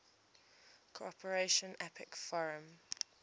cooperation apec forum